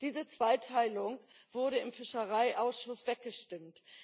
Diese Zweiteilung wurde im Fischereiausschuss weggestimmt.